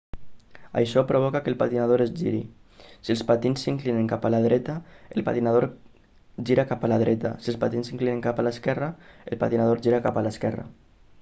això provoca que el patinador es giri si els patins s'inclinen cap a la dreta el patinador gira cap a la dreta si els patins s'inclinen cap a l'esquerra el patinador gira cap a l'esquerra